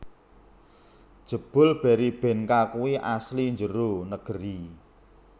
Jebul Berrybenka kui asli njero negeri